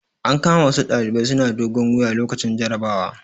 An kama wasu ɗalibai suna dogon wuya lokacin jarabawa.